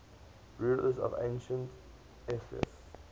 rulers of ancient epirus